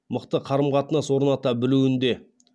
мықты қарым қатынас орната білуінде